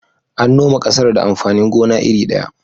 An noma ƙasar da amfanin gona iri ɗaya.